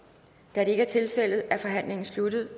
da det ikke er tilfældet er forhandlingen sluttet